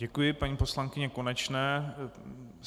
Děkuji paní poslankyni Konečné.